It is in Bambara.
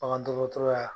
Bagan dɔgɔtɔrɔya